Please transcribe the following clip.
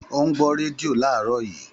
Ó ń gbọ́ rédíò láàárọ̀ yìí